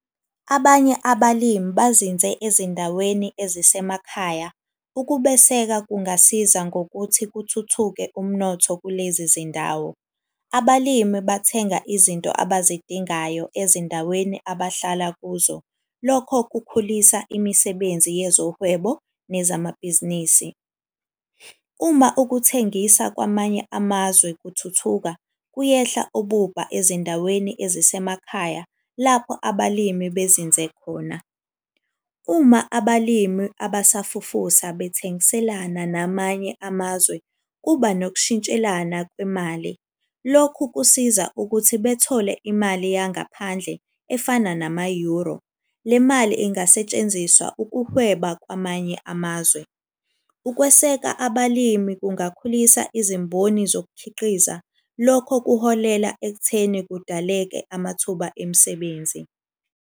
Abanye abalimi bazinze ezindaweni ezisemakhaya, ukubeseka kungasiza ngokuthi kuthuthuke umnotho kulezi zindawo. Abalimi bathenga izinto abazidingayo ezindaweni abahlala kuzo. Lokho kukhulisa imisebenzi yezohwebo nezamabhizinisi. Uma ukuthengisa kwamanye amazwe kuthuthuka kuyehla ububha ezindaweni ezisemakhaya, lapho abalimi bezinze khona. Uma abalimi abasafufusa bathengiselane namanye amazwe, kuba nokushintshelana kwemali. Lokhu kusiza ukuthi bethole imali yangaphandle efana nama-Euro. Le mali ingasetshenziswa ukuhweba kwamanye amazwe. Ukweseka abalimi kungakhulisa izimboni zokukhiqiza. Lokho kuholela ekutheni kudaleke amathuba emisebenzi.